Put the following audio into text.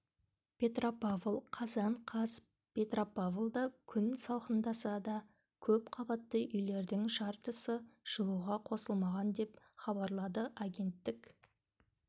петропавл қазан қаз петропавлда күн салқындаса да көп қабатты үйлердің жартысы жылуға қосылмаған деп хабарлады агенттік